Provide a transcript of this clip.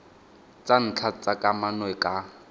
tsa ntlha tsa kamano ka